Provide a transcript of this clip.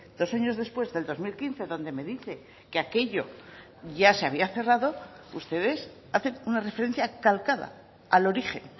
dos años después del dos mil quince donde me dice que aquello ya se había cerrado ustedes hacen una referencia calcada al origen